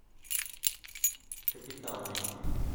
капитал найди